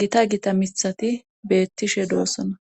gita gita mithati beettishe doossona.